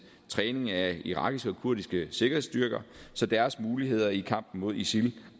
træning af irakiske og kurdiske sikkerhedsstyrker så deres muligheder i kampen mod isil